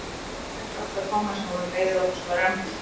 Slakið aðeins á sagði Tommi sem var orðinn leiður á þessum rembingi.